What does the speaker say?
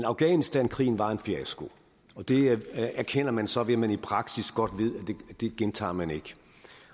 afghanistankrigen var en fiasko det erkender man så ved at man i praksis godt ved at det gentager man ikke